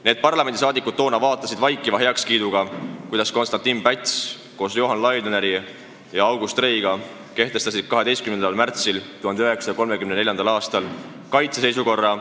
Need parlamendisaadikud vaatasid vaikiva heakskiiduga pealt, kuidas Konstantin Päts kehtestas koos Johan Laidoneri ja August Reiga 12. märtsil 1934. aastal kaitseseisukorra.